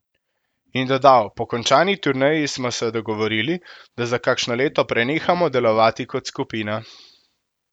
In dodal: 'Po končani turneji smo se dogovorili, da za kakšno leto prenehamo delovati kot skupina.